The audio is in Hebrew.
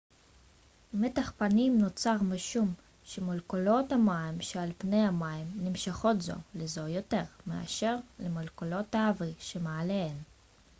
מתח פנים נוצר משום שמולקולות המים שעל פני המים נמשכות זו לזו יותר מאשר למולקולות האוויר שמעליהן